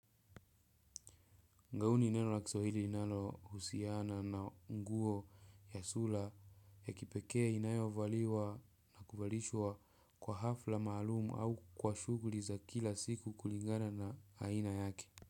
Ngao ni neno la kiswahili linalohusiana na nguo ya sura ya kipekee inayovaliwa na kuvalishwa kwa hafla maalum au kwa shughuli za kila siku kulingana na aina yake.